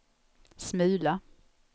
smula